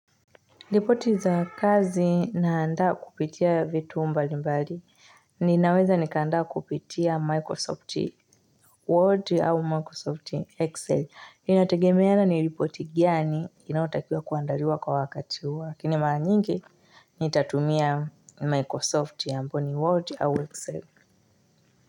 Ripoti za kazi naandaa kupitia vitu mbali mbali. Ninaweza nikaandaa kupitia Microsoft Word au Microsoft Excel. Inategemeana ni ripoti gani inaotakiwa kuandariwa kwa wakati huo.lakini mara nyingi nitatumia Microsoft ambao ni Word au Excel.